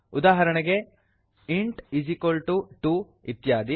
ಉದಾಹರಣೆಗೆ160 int2 ಇತ್ಯಾದಿ